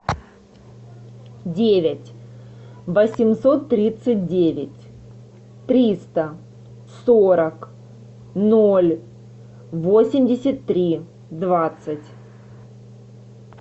девять восемьсот тридцать девять триста сорок ноль восемьдесят три двадцать